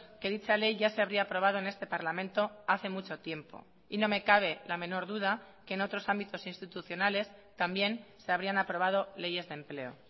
que dicha ley ya se habría aprobado en este parlamento hace mucho tiempo y no me cabe la menor duda que en otros ámbitos institucionales también se habrían aprobado leyes de empleo